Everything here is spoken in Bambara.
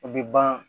O bɛ ban